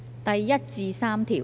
第1至3條。